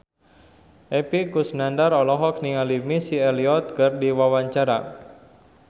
Epy Kusnandar olohok ningali Missy Elliott keur diwawancara